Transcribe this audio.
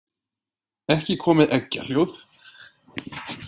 Ekki komið eggjahljóð?